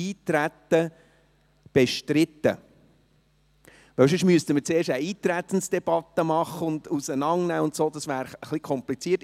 Sonst müssten wir zuerst eine Eintretensdebatte machen und es auseinandernehmen, und so wäre es ein wenig kompliziert.